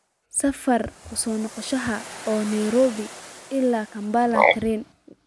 safar ka soo noqosho ah oo nairobi ilaa kampala tareen